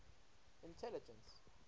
intelligence